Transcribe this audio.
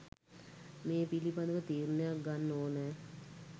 මේ පිළිබඳව තීරණයක් ගන්න ඕනෑ